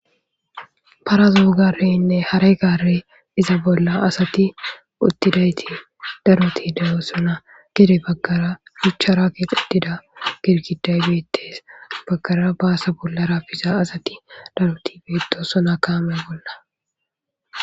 parazo gareynne haray garey iza bolla asati uttidayti daroti daro dosona gede baggara shuchcharake qetida girkiday beettes baggara baasa bollara biza asati daroti beeto sona kaame bolla